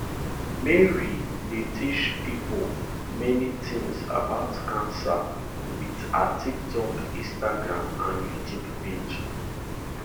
mary dey teach pipo many tins about cancer wit her tiktok instagram and youtube page